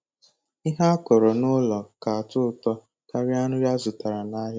Ihe akọrọ nụlọ ka atọ ụtọ karịa nri azụtara nahịa.